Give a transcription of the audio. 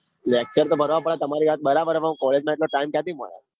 આ lecture તો ભરવા પડે તમારી વાત બરાબર હ પણ college નો એટલો time ક્યાંથી મલ.